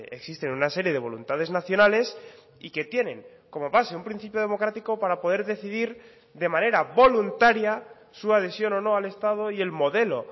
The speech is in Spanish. existen una serie de voluntades nacionales y que tienen como base un principio democrático para poder decidir de manera voluntaria su adhesión o no al estado y el modelo